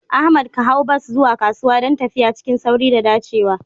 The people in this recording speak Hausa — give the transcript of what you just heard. Ahmad ka hau bas zuwa kasuwa don tafiya cikin sauri da dacewa.